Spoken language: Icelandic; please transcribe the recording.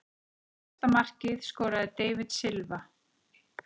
Síðasta markið skoraði David Silva.